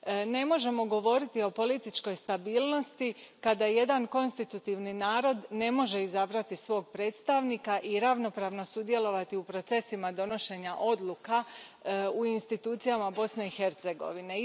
Ne možemo govoriti o političkoj stabilnosti kada jedan konstitutivni narod ne može izabrati svog predstavnika i ravnopravno sudjelovati u procesima donošenja odluka u institucijama Bosne i Hercegovine.